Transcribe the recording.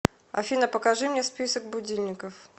афина покажи мне список будильников